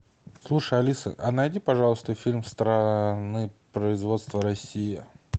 слушай алиса а найди пожалуйста фильм страны производства россия